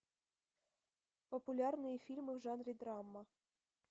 популярные фильмы в жанре драма